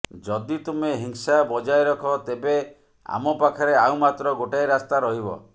ଯଦି ତୁମେ ହିଂସା ବଜାୟ ରଖ ତେବେ ଆମ ପାଖରେ ଆଉ ମାତ୍ର ଗୋଟାଏ ରାସ୍ତା ରହିବ